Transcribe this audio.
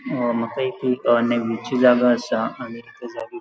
अ माका एक अ थंय नेव्हीची जागा आसा आणि त्या जागेक --